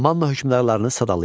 Manna hökmdarlarını sadalayın.